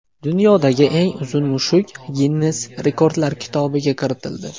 Dunyodagi eng uzun mushuk Ginnes rekordlar kitobiga kiritildi.